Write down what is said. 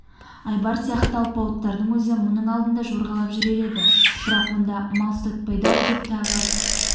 айбар сияқты алпауыттардың өзі мұның алдында жорғалап жүрер еді бірақ онда мал ұстатпайды ау деп тағы